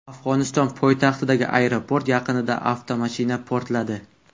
Afg‘oniston poytaxtidagi aeroport yaqinida avtomashina portladi.